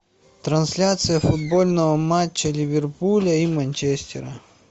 трансляция футбольного матча ливерпуля и манчестера